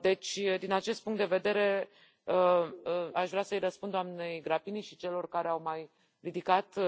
Deci, din acest punct de vedere, aș vrea să îi răspund doamnei Grappini și celor care au mai ridicat